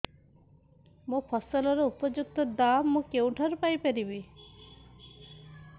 ମୋ ଫସଲର ଉପଯୁକ୍ତ ଦାମ୍ ମୁଁ କେଉଁଠାରୁ ପାଇ ପାରିବି